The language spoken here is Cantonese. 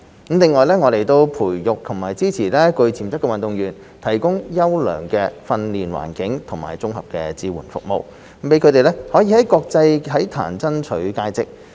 另外，我們培育及支持具潛質的運動員，提供優良的訓練環境及綜合支援服務，讓他們可以在國際體壇爭取佳績。